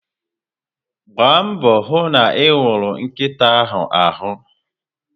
Mgba mbọ hụ na iwuru nkịta ahụ arụ